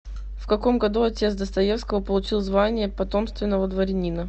в каком году отец достоевского получил звание потомственного дворянина